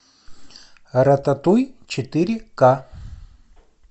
рататуй четыре ка